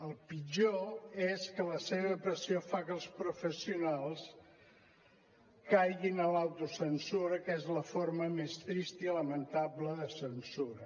el pitjor és que la seva pressió fa que els professionals caiguin en l’autocensura que és la forma més trista i lamentable de censura